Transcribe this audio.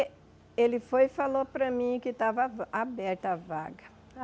Ele foi e falou para mim que estava aberta a vaga.